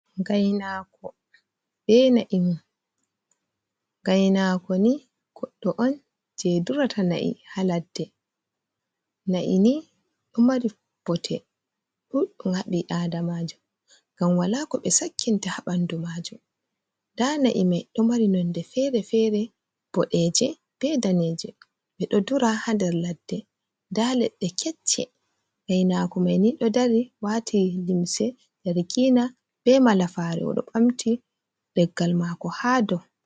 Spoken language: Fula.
Gainako be na'i mun. Gainako ni goddo on je durata na'i ha ladde. Na'i ni ɗo mari bote ɗuɗɗi ha ɓi adamajo ngam wala ko ɓe sakkinta ha ɓandu majum nda na'i mai ɗo mari nonde fere-fere boɗeje be daneje ɓeɗo dura ha nder ladde nda leɗɗe kecce gainako mai ni ɗo dari wati limse darkina be malafare oɗo ɓamti leggal mako ha dou.